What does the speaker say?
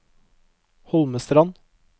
Holmestrand